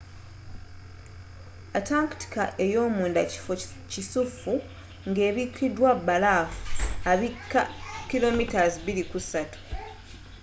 antarctica eyomunda kifo kikusifu ngebikidwa balaafu abikka 2-3km